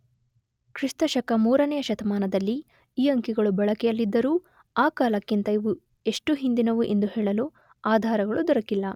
ಕ್ರಿಷ್ತಶಕ 3ನೆಯ ಶತಮಾನದಲ್ಲಿ ಈ ಅಂಕಿಗಳು ಬಳಕೆಯಲ್ಲಿದ್ದರೂ ಆ ಕಾಲಕ್ಕಿಂತ ಇವು ಎಷ್ಟು ಹಿಂದಿನವು ಎಂದು ಹೇಳಲು ಆಧಾರಗಳು ದೊರಕಿಲ್ಲ.